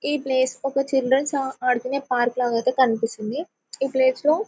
ఈ ప్లేస్ ఒక చిల్డ్రన్స్ ఆ ఆడుకునే పార్క్ లాగైతే కనిపిస్తుంది ఈ ప్లేస్ లో--